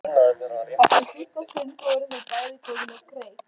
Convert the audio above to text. Eftir stutta stund voru þau bæði komin á kreik.